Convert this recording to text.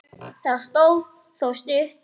Það stóð þó stutt.